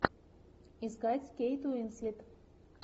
искать кейт уинслет